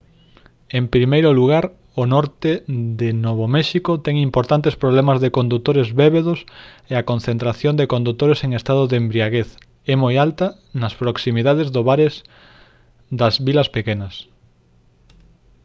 en primeiro lugar o norte de novo méxico ten importantes problemas de condutores bébedos e a concentración de condutores en estado de embriaguez é moi alta nas proximidades do bares das vilas pequenas